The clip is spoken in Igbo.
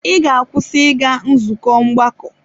Ị ga-akwụsị ịga nzukọ ọgbakọ!